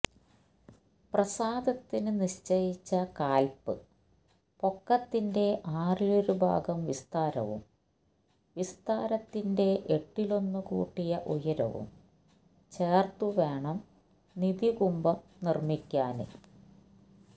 പ്രാസാദത്തിന് നിശ്ചയിച്ച കാല്പ്പൊക്കത്തിന്റെ ആറിലൊരു ഭാഗം വിസ്താരവും വിസ്താരത്തിന്റെ എട്ടിലൊന്നു കൂട്ടിയ ഉയരവും ചേര്ത്ത് വേണം നിധികുംഭം നിര്മിക്കാന്